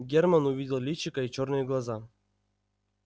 германн увидел личико и чёрные глаза